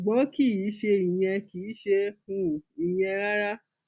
ṣùgbọn kì í ṣe ìyẹn kì í ṣe um ìyẹn rárá